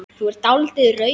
Þú er dáldið rauð.